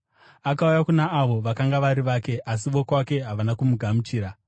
Akauya kuna avo vakanga vari vake, asi vokwake havana kumugamuchira.